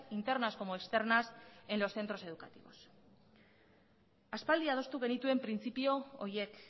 internas como externas en los centros educativos aspaldi adostu genituen printzipio horiek